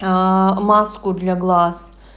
маску для глаз